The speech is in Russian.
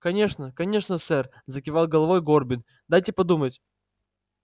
конечно конечно сэр закивал головой горбин дайте подумать